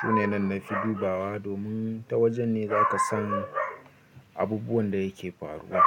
Su ne nan nafi dubawa domin ta wajen ne za ka san abubuwan da yake faruwa.